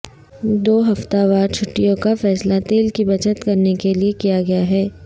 دو ہفتہ وار چھٹیوں کا فیصلہ تیل کی بچت کرنے کیلیے کیا گیا ہے